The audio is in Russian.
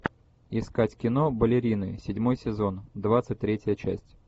искать кино балерины седьмой сезон двадцать третья часть